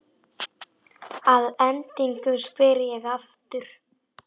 Að endingu spyr ég aftur.